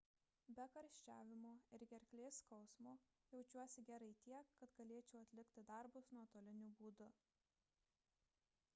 be karščiavimo ir gerklės skausmo jaučiuosi gerai tiek kad galėčiau atlikti darbus nuotoliniu būdu